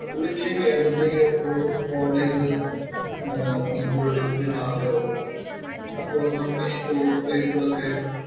പുള്ളിക്ക് കേരളത്തിലേക്ക് ഒരു ആഹ് വന്നിട്ട് ഇവിടെ വിസിറ്റ് ചെയ്യണമെന്ന് ആഗ്രഹമുണ്ട്. അപ്പൊ നമുക്ക് ഏറ്റവും ആയിട്ടുള്ള